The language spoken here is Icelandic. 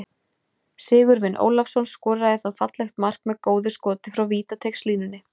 Sigurvin Ólafsson skoraði þá fallegt mark með góðu skoti frá vítateigslínunni.